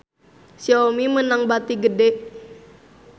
Xiaomi meunang bati gede